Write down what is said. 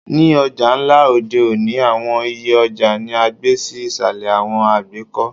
Ni ọja nla odẹ́ oni, awọn iyẹ ọja ni a gbe si isalẹ awọn àgbekọ